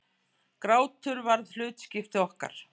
Grátur varð hlutskipti okkar.